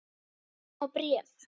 Einu sinni var bréf.